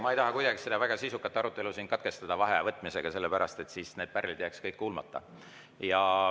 Ma ei taha kuidagi seda väga sisukat arutelu katkestada vaheaja võtmisega, sellepärast et siis need pärlid jääks kõik kuulmata.